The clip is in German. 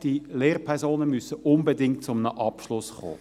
Die Lehrpersonen müssen unbedingt zu einem Abschluss kommen.